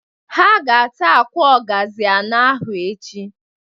Ha ga- ata akwa ọgazị anọ ahụ echi.